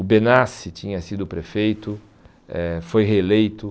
O Benassi tinha sido prefeito, eh foi reeleito.